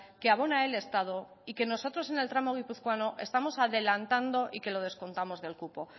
que abona el estado y que nosotros en el tramo guipuzcoano estamos adelantando y que lo descontamos del cupo